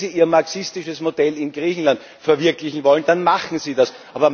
Wenn Sie ihr marxistisches Modell in Griechenland verwirklichen wollen, dann machen Sie